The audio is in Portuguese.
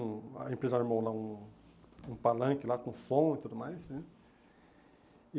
A empresa armou lá um um palanque lá com som e tudo mais né. E